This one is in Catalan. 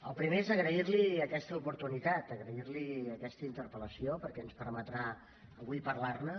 el primer és agrair li aquesta oportunitat agrair li aquesta interpel·lació perquè ens permetrà avui parlar ne